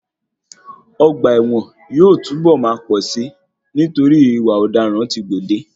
Ọgbà ẹ̀wọ̀n yóò yóò tún bọ̀ máa pọ̀ si nítorí ìwà ọ̀daràn tí o gbòde.